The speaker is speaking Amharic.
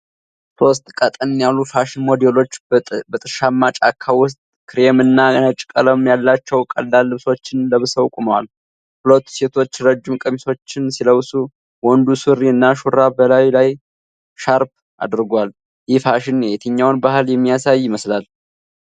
ሦስት ቀጠን ያሉ ፋሽን ሞዴሎች በጥሻማ ጫካ ውስጥ ክሬም እና ነጭ ቀለም ያላቸው ቀላል ልብሶችን ለብሰው ቆመዋል። ሁለቱ ሴቶች ረጅም ቀሚሶችን ሲለብሱ፣ ወንዱ ሱሪ እና ሹራብ በላዩ ላይ ሻርፕ አድርጓል። ይህ ፋሽን የትኛውን ባህል የሚያሳይ ይመስላል?